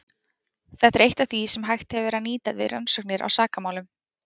Þetta er eitt af því sem hægt hefur verið að nýta við rannsóknir á sakamálum.